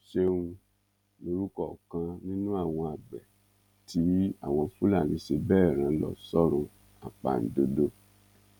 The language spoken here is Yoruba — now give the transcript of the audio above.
ṣẹun lorúkọ ọkan nínú àwọn àgbẹ tí àwọn fúlàní ṣe bẹẹ rán lọ sọrun àpàǹdodo